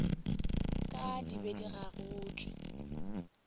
ka di be di gagotšwe